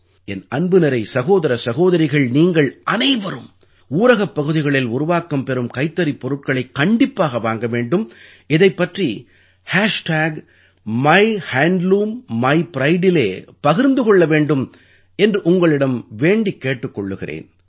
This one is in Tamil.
என் அன்புநிறை சகோதர சகோதரிகள் நீங்கள் அனைவரும் ஊரகப் பகுதிகளில் உருவாக்கம் பெறும் கைத்தறிப் பொருட்களைக் கண்டிப்பாக வாங்க வேண்டும் இதைப் பற்றி MyHandloomMyPrideஇலே பகிர்ந்து கொள்ள வேண்டும் என்று உங்களிடம் வேண்டிக் கேட்டுக் கொள்கிறேன்